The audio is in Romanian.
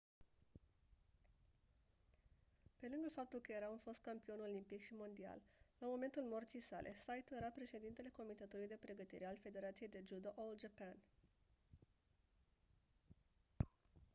pe lângă faptul că era un fost campion olimpic și mondial la momentul morții sale saito era președintele comitetului de pregătire al federației de judo all japan